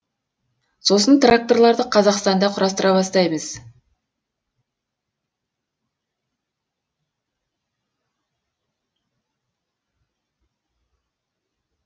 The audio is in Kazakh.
сосын тракторларды қазақстанда құрастыра бастаймыз